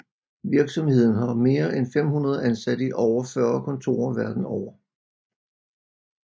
Virksomheden har mere end 500 ansatte i over 40 kontorer verden over